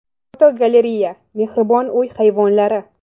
Fotogalereya: Mehribon uy hayvonlari.